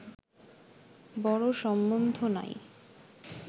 বড় সম্বন্ধ নাই